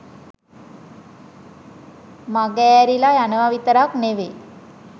මගෑරිලා යනවා විතරක් නෙවෙයි